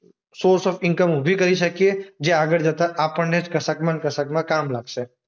Source of income ઉભી કરી શકીએ. જે આગળ જતા આપણને જ કશાકમાં ને કશાકમાં કામ લાગશે.